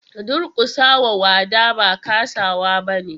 Durkusa wa wada ba kasawa bane.